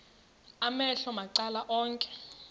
amehlo macala onke